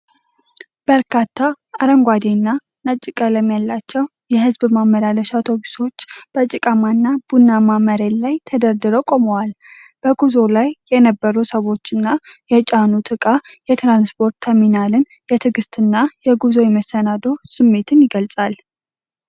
በርካታ አረንጓዴና ነጭ ቀለም ያላቸው የሕዝብ ማመላለሻ አውቶቡሶች በጭቃማና ቡናማ መሬት ላይ ተደርድረው ቆመዋል። በጉዞ ላይ የነበሩ ሰዎችና የጫኑት ዕቃ የትራንስፖርት ተርሚናልን የትዕግሥትና የጉዞ የመሰናዶ ስሜት ይገልጻል።